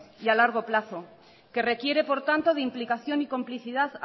y a largo plazo que requiere por tanto de implicación y complicidad